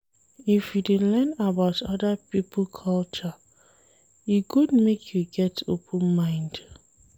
If you dey learn about oda pipo culture, e good make you get open mind.